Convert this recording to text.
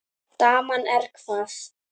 Daman er hvað.